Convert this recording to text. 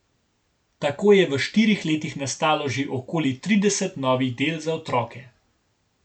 Tako je v štirih letih nastalo že okoli trideset novih del za otroke.